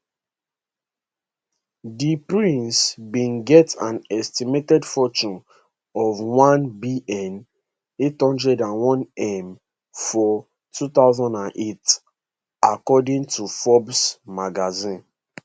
di prince bin get an estimated fortune of one billion, eight hundred and one million for 2008according to forbes magazine